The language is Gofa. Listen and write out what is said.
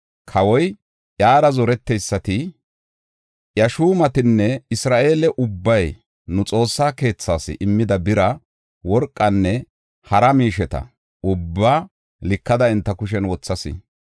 Kawoy, iyara zoreteysati, iya shuumatinne Isra7eele ubbay nu Xoossaa keethas immida bira, worqanne, hara miisheta ubbaa likada enta kushen wothas.